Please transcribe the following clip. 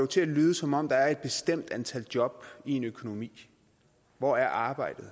til at lyde som om der er et bestemt antal job i en økonomi hvor er arbejdet